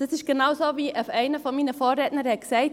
Es ist genau so, wie einer meiner Vorredner sagte.